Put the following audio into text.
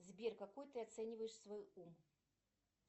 сбер какой ты оцениваешь свой ум